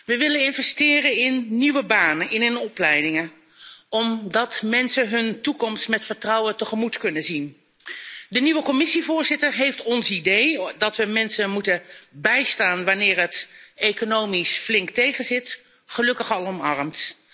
We willen investeren in nieuwe banen en opleidingen, zodat mensen hun toekomst met vertrouwen tegemoet kunnen zien. De nieuwe Commissievoorzitter heeft ons idee dat we mensen moeten bijstaan wanneer het economisch flink tegenzit, gelukkig al omarmd.